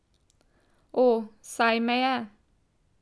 O, saj me je.